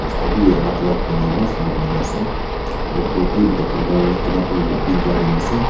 alak alak eman sundor banai nah ase aru ghor bhi boka colour tina tou green colour dina ase.